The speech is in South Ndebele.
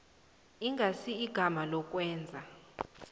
ingasi igama lokwenza